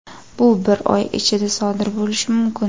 Bu bir oy ichida sodir bo‘lishi mumkin.